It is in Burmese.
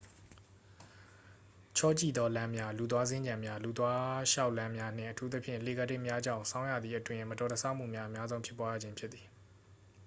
ချောကျိသော လမ်းများ၊ လူသွားစင်္ကြံများ လူသွားလျှောက်လမ်းများနှင့် အထူးသဖြင့် လှေကားထစ်များကြောင့် ဆောင်းရာသီအတွင်း မတော်တဆမှုများ အများဆုံးဖြစ်ပွားရခြင်းဖြစ်သည်။